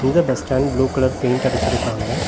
இந்த bus stand blue colour paint அடிச்சுருக்காங்க.